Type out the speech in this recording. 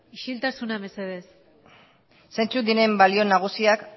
isiltasuna mesedez zeintzuk diren balio nagusiak